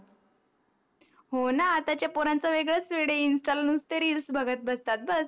हो न आताच्या पोरांच वेगडस वेड आहे इनस्टा वर नुसते REELS बघत असतात बस